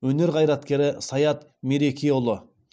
өнер қайраткері саят мерекеұлы